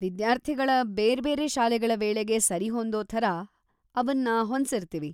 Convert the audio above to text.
ವಿದ್ಯಾರ್ಥಿಗಳ ಬೇರ್ಬೇರೆ ಶಾಲೆಗಳ ವೇಳೆಗೆ ಸರಿಹೊಂದೋ ಥರ ಅವನ್ನ ಹೊಂದ್ಸಿರ್ತೀವಿ.